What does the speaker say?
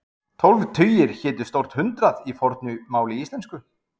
tólf tugir hétu stórt hundrað í fornu máli íslensku